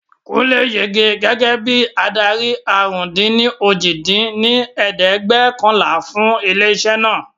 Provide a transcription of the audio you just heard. Kúnlé yege gẹ́gẹ́ bí adarí àrún-dín-ní-ojì dín ní ẹ̀ẹ́dẹ́gbẹ́ọ̀kànlá fún ilé isẹ́ naa